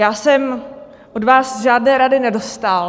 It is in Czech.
Já jsem od vás žádné rady nedostal.